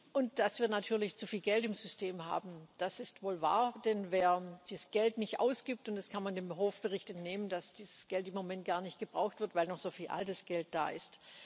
Und dass wir natürlich zu viel Geld im System haben, das ist wohl wahr, denn wer dieses Geld nicht ausgibt und das kann man dem Hofbericht entnehmen, dass dieses Geld im Moment gar nicht gebraucht wird, weil noch so viel altes Geld da ist.